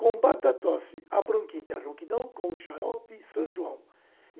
Combata a tosse, a bronquite e a ronquidão com o Xarope São João.